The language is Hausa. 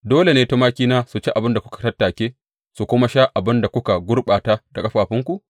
Dole ne tumakina su ci abin da kuka tattake su kuma sha abin da kuka gurɓata da ƙafafunku?